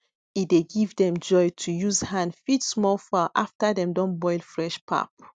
e dey give them joy to use hand feed small fowl after dem don boil fresh pap